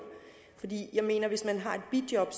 jeg mener at hvis man har et bijob